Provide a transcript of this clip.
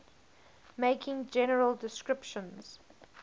making general descriptions